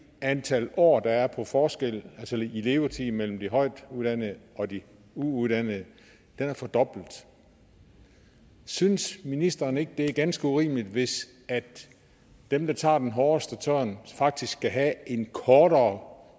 antal år der er forskellen i levetid mellem de højtuddannede og de uuddannede er fordoblet år synes ministeren ikke det er ganske urimeligt hvis dem der tager den hårdeste tørn faktisk skal have en kortere